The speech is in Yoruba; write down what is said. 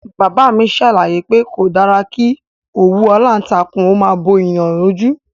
Bàbá mi ṣàlàyé pé kò dára kí òwú aláǹtakùn ó máa bo ènìyàn lójú